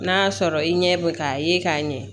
N'a sɔrɔ i ɲɛ bɛ k'a ye k'a ɲɛ